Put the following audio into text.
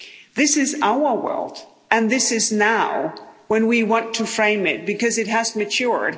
This is our world and this is now, when we went to frame it, because it has matured.